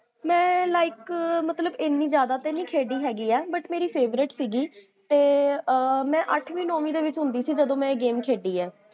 ਮੈਂ like ਮਤ੍ਲ੍ਬ ਇੰਨੀ ਜਾਦਾ ਤੇ ਨੀ ਖੇਡੀ ਹੈਗੀ ਆ, but ਮੇਰੀ favourite ਸੀਗੀ, ਤੇ ਮੈਂ ਅਠਵੀ ਨੋਵੀ ਦੇ ਵਿੱਚ ਹੁੰਦੀ ਸੀ ਜਦੋ ਮੈਂ ਇਹ ਗੇਮ ਖੇਡੀ